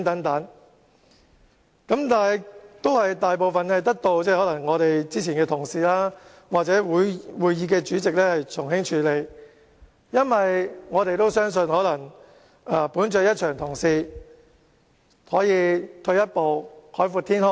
但是，大部分行為都得到之前的議員或會議的主席從輕處理，因為我們相信基於大家一場同事，退一步海闊天空。